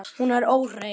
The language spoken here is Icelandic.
Hún er óhrein.